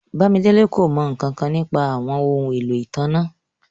Bàmídélẹ̀ kò mọ nkankan nípa àwọn ọhun ẹ̀lọ́ itánná.